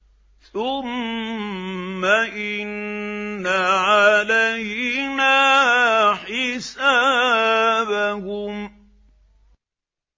ثُمَّ إِنَّ عَلَيْنَا حِسَابَهُم